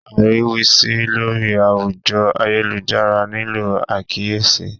Ariwisi lori awujo ayelujara nilo akiyesi